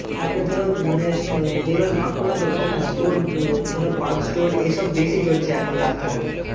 তারপরে ধরো মানে যেগুলা দোকান না store ধরো punch store এসব বেশি চলছে এখন রাস্তাঘাটে।